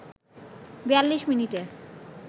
৪২ মিনিটে